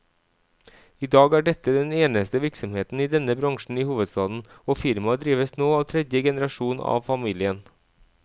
I dag er dette den eneste virksomheten i denne bransjen i hovedstaden, og firmaet drives nå av tredje generasjon av familien.